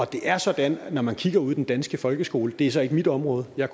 det er sådan at når man kigger ud i den danske folkeskole det er så ikke mit område jeg